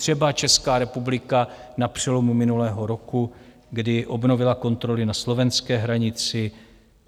Třeba Česká republika na přelomu minulého roku, když obnovila kontroly na slovenské hranici.